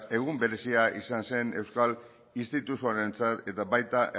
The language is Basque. egun berezia izan zen euskal instituzioentzat eta baita